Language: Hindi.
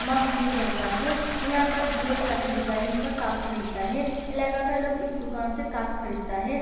मग मिल जाता है यहाँ पर ढेर सारे डिज़ाइन का कप्स मिलता है इलाका का लोग इस दुकान से कप खरीदता है।